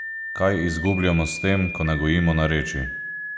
Kaj izgubljamo s tem, ko ne gojimo narečij?